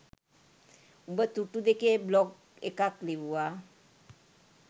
උඹ තුට්ටු දෙකේ බ්ලොග් එකක් ලිව්වා